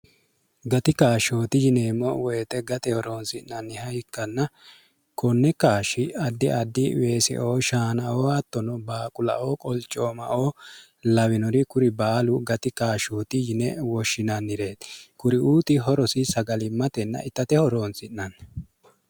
gati kaashshooti yineemmo woyixe gateho roonsi'nanniha hikkanna konne kaashshi addi addi weeseoo shaanaoo attono baaqulaoo qolcoomaoo lawinori kuri baalu gati kaashshooti yine woshshinannireeti kuri uuti horosi sagalimmatenna ittateho roonsi'nanni